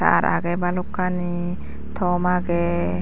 tar agey balokkani tom agey.